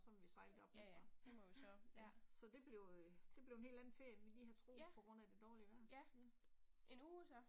Ja ja, det må jo så, ja. Ja, ja. En uge, så?